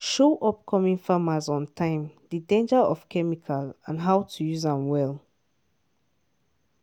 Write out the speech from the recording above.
show upcoming farmers ontime the danger of chemical and how to use am well.